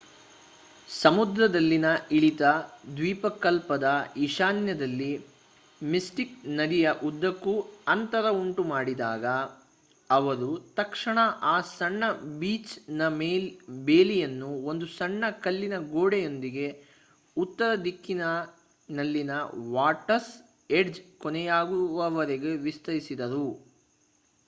ಸಮುದ್ರದಲ್ಲಿನ ಇಳಿತ ದ್ವೀಪಕಲ್ಪದ ಈಶಾನ್ಯದಲ್ಲಿ ಮಿಸ್ಟಿಕ್ ನದಿಯ ಉದ್ದಕ್ಕೂ ಅಂತರ ಉಂಟು ಮಾಡಿದಾಗ ಅವರು ತಕ್ಷಣ ಆ ಸಣ್ಣ ಬೀಚ್‌ನ ಬೇಲಿಯನ್ನು ಒಂದು ಸಣ್ಣ ಕಲ್ಲಿನ ಗೋಡೆಯೊಂದಿಗೆ ಉತ್ತರದಿಕ್ಕಿನಲ್ಲಿನ ವಾಟರ್ಸ್ ಏಡ್ಜ್ ಕೊನೆಯಾಗುವವರೆಗೆ ವಿಸ್ತರಿಸಿದರು